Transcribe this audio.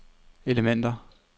elementer